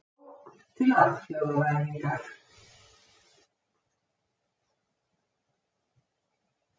Sókn til alþjóðavæðingar.